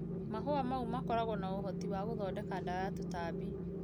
Mahũa maĩo makoragwo na ũhoti wagũthondeka dawa ya tũtambi.